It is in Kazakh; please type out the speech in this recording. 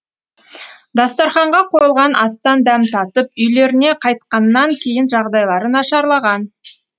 дастарханға қойылған астан дәм татып үйлеріне қайтқаннан кейін жағдайлары нашарлаған